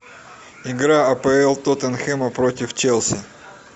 игра апл тоттенхэма против челси